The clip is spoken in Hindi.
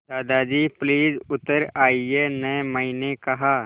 दादाजी प्लीज़ उतर आइये न मैंने कहा